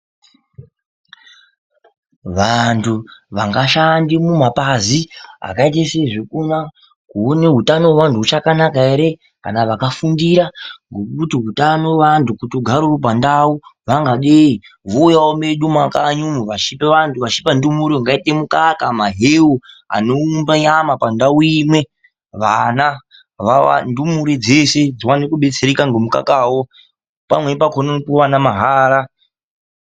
Vantu vangashande kumabazi akaitese zvekunoona ngezveutano hwevantu kuti huchakanaka here kana vakafundira kuti hutano hwevantu hugare huri pandau vangadeyi. Vowuyawo mumakanyi medu vachipe vantu, vachipe ndumurwa mukaka ,mahewu anowumba raramo pandawo imwe. Ndumure dzeshe dziwane kubetsereka nemukaka wavanowana mahara.